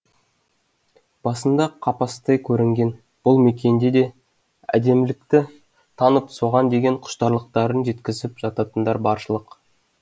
басында қапастай көрінген бұл мекенде де әдемілікті танып соған деген құштарлықтарын жеткізіп жататындар баршылық